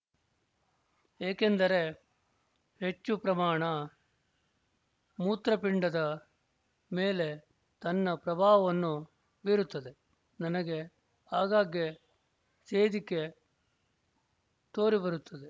ಏಕೆಂದರೆ ಹೆಚ್ಚು ಪ್ರಮಾಣ ಮೂತ್ರ ಪಿಂಡದ ಮೇಲೆ ತನ್ನ ಪ್ರಭಾವವನ್ನು ಬೀರುತ್ತದೆ ನನಗೆ ಆಗಾಗ್ಗೆ ಸೇದಿಕೆ ತೋರಿಬರುತ್ತದೆ